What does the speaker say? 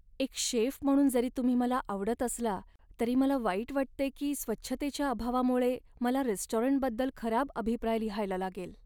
एक शेफ म्हणून जरी तुम्ही मला आवडत असला, तरी मला वाईट वाटतंय की स्वच्छतेच्या अभावामुळे मला रेस्टॉरंटबद्दल खराब अभिप्राय लिहायला लागेल.